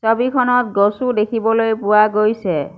ছবিখনত গছও দেখিবলৈ পোৱা গৈছে।